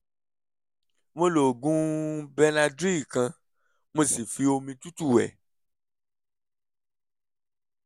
mo lo oògùn benadryl kan mo sì fi omi tútù wẹ̀